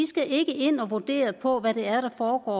skal ind og vurdere på hvad der foregår